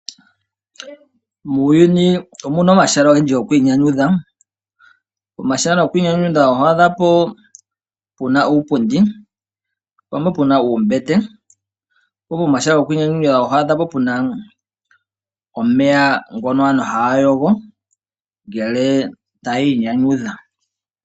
Muuyuni omuna omahala ogendji gokwiinyanyudho. Omahala gokwiinyanyudha ohapu puna uupundi, pumwe opuna uumbete. Omahala gokwiinyanyudha oho adhapo puna omeya ngono aantu haya yogo ngele taya inyanyudha.